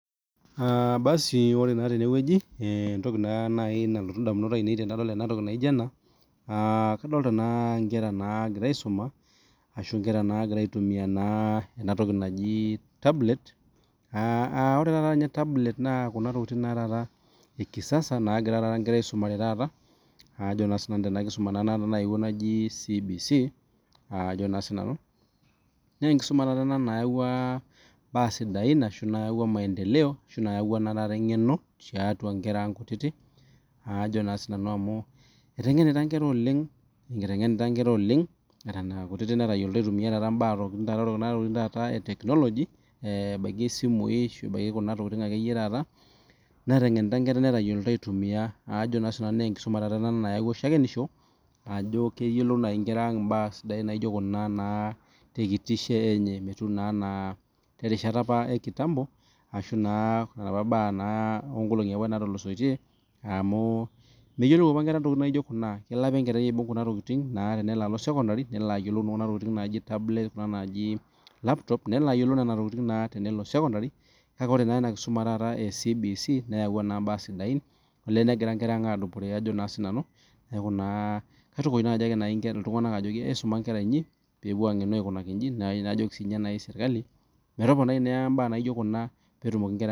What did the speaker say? ore entoki nalotu edamunot ainei tenadol entoki naijio ena kadolita Nkera nagira aisuma ashu nkeranagira aitumia ena toki naaji tablet AA ore taata tablet naa Kuna tokitin ee kisasa nagira enkera aisumare taata Tena kisuma naaji CBC Ajo naa sinanu naa tenkisuma[nayawua ntokitin sidain Ajo sinanu eyawua mamedndeleo ashu eyaua naa taata eng'eno tiatua Nkera ang kutiti amu etengenita Nkera oleng Eton akutiti netayioliti aitumia Kuna tokitin ee tekinoloji ebaiki esimu ebaiki akeyie Kuna tokitin taata netengenita Nkera netalyiolo aitumia naa tenkisuma taata ena nayaua shakenisho Ajo keyiolou taata Nkera mbaa sidain naijio Kuna tee kitisho enye metumi naa enaa terisha ekitampo arashu naa enapaa mbaa onkolongii natulosoitie amu neyiolou apa Nkera mbaa naijio Kuna kelo apa enkerai aibug Kuna tokitin tenelo alo sekondari nelok aibug Kuna tokitin naaji tablets Kuna naaji laptops nelo ayiolou naa tenelo sekondari kake ore naa ena kisuma ee CBC neyaua mbaa sidain negira enkera ang adupore Ajo sinanu naa kaitukuj naaji enkera ang ajoki esuma enkera enyi pee epuo ang'enu aikoji naa kayieu naa najooki sirkali metopanai mbaa naijio Kuna petumoki nkera